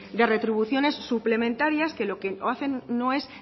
de retribuciones suplementarias que lo que hacen no es